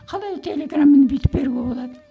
қалай телеграмманы бүйтіп беруге болады